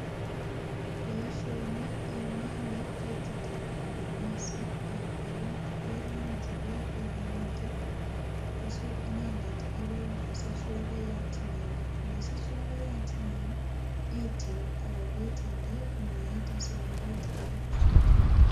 Boisyoni imine ketitab mananasi ak netot irangyi bek akimete kosab inendet akoi kosich lokoyat neo, ndasich lokoyat neo itil akobit inde kiniet asikobit iibe sokoni.